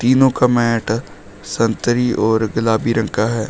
तीनों का मैंट संतरी और गुलाबी रंग का है।